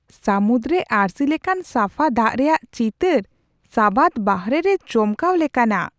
ᱥᱟᱹᱢᱩᱫ ᱨᱮ ᱟᱹᱨᱥᱤ ᱞᱮᱠᱟᱱ ᱥᱟᱯᱷᱟ ᱫᱟᱜ ᱨᱮᱭᱟᱜ ᱪᱤᱛᱟᱹᱨ ᱥᱟᱵᱟᱫ ᱵᱟᱦᱚᱨᱮ ᱨᱮ ᱪᱚᱢᱠᱟᱣ ᱞᱮᱠᱟᱱᱟᱜᱼᱟ !